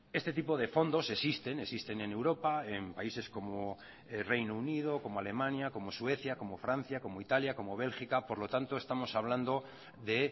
este tipo de fondos existen existen en europa en países como reino unido como alemania como suecia como francia como italia como bélgica por lo tanto estamos hablando de